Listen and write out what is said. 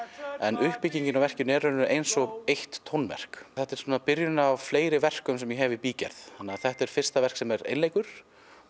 en uppbyggingin á verkinu er eins og eitt tónverk þetta er byrjunin á fleiri verkum sem ég hef í bígerð þetta er fyrsta verk sem er einleikur